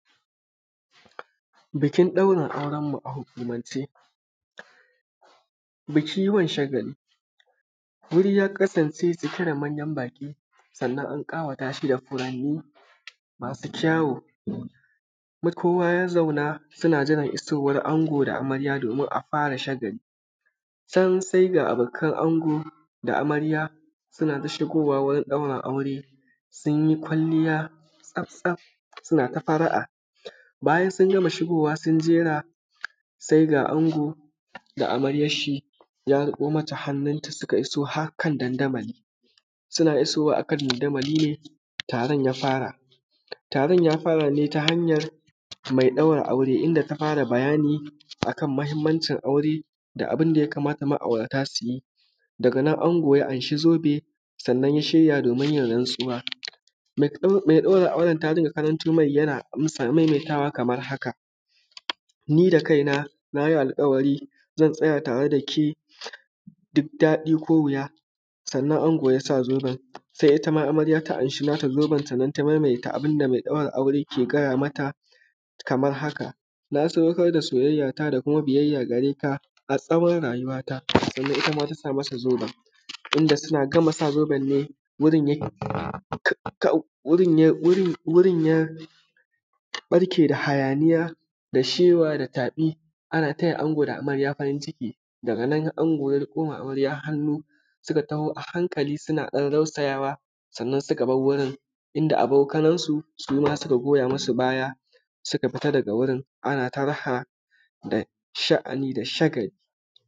Bikin daurin aurenmu a hukumance, biki wan shagali guri ya kasance cike da mayan baƙi, sannan an ƙawata shi da furanni masu kyaw,u kowa ya zauna suna jiran isowan ango da amarya domin a fara shagali can sai ga abokan ango da amarya suna ta shigowa gurin dauran aure sun yi kwalliya tsaf-tsaf suna ta fara’a, bayan sun gama shigowa sun jera sai ga ango da amaryarshi ya riƙo mata hannunta suka iso har kan dandamali. Suna iso wa akan dandamali ne taron ya fara, taron ya fara ne ta hanyar mai ɗaura aure inda ta fara bayani a kan mahimmancin aure, da abun da ya kamata ma’aurata su yi daga nan ango ya an shi zobe, sannnan ya shirya domin ya yi rantsuwa mai ɗauran aure ta rinƙa karanto mai yana maimaitawa kamar haka: ni da kaina na yi alƙawari zan tsaya tare da ke duk daɗi ko wuya. Sannan ango ya sa zoben, sai ita ma amarya ta amshi nata zoben,, sannan ta maimaita abun da mai ɗaura aure take gaya mata kaman haka: na sadaukar da soyayyata da kuma biyayya gare ka har tsawor rayuwata, sannan kuma ta sa masa zoben, inda suna gama sa zoben ne wurin ya barke da hayaniya da shewa da tafi ana taya ango da amarya farinciki daga nan, ango ya riƙo ma amarya hannu suka taho a hankali suna ɗan rausayawa, sannan suka bar wurin inda abokanansu suma suka goya musu baya suka fita daga wurin ana ta raha da sha’ani da shagali.